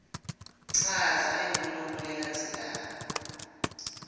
chaza lenkhulumo lelandzelako